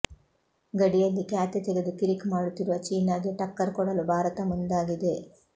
ಗಡಿಯಲ್ಲಿ ಕ್ಯಾತೆ ತೆಗೆದು ಕಿರಿಕ್ ಮಾಡುತ್ತಿರುವ ಚೀನಾಗೆ ಠಕ್ಕರ್ ಕೊಡಲು ಭಾರತ ಮುಂದಾಗಿದೆ